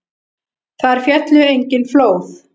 Þar féllu engin flóð.